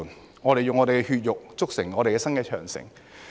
把我們的血肉，築成我們新的長城！